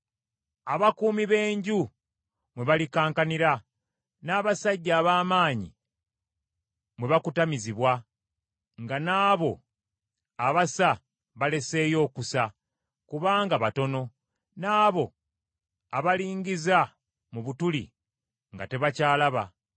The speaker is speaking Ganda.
abakuumi b’enju mwe balikankanira, n’abasajja ab’amaanyi mwe bakutamizibwa, nga n’abo abasa baleseeyo okusa, kubanga batono, n’abo abalingiza mu butuli nga tebakyalaba;